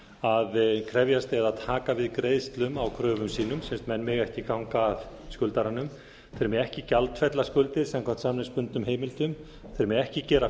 að krefjast eða taka við greiðslum á kröfum sínum sem sagt menn mega ekki ganga að skuldaranum þeir mega ekki gjaldfella skuldir samkvæmt samningsbundnum heimildum þeir mega ekki gera